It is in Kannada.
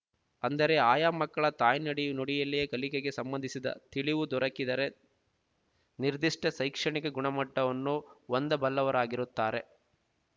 ಅಂದರೆ ಆಯಾ ಮಕ್ಕಳ ತಾಯ್ನುಡಿ ನುಡಿಯಲ್ಲಿಯೇ ಕಲಿಕೆಗೆ ಸಂಬಂಧಿಸಿದ ತಿಳಿವು ದೊರಕಿದರೆ ನಿರ್ಧಿಷ್ಟ ಶೈಕ್ಷಣಿಕ ಗುಣಮಟ್ಟವನ್ನು ಹೊಂದಬಲ್ಲವರಾಗಿರುತ್ತಾರೆ